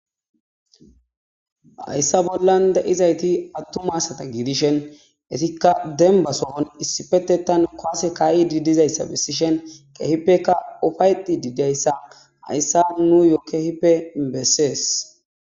Hayssa bollan da7izayti attuma asata giidishen etikka dembasohon issipetetan koase kaa7i diidizayssa bessishen kehippeka ufayti diidayssa hayssa nu yoo kehippe bessees